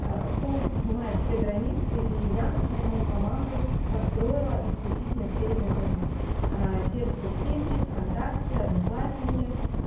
полностью снимает все границы и я например мою команду построила исключительно через интернет те же соцсети вконтакте одноклассники